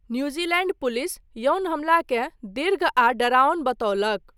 New Zealand police यौन हमलाकेँ दीर्घ आ डराओन बतौलक।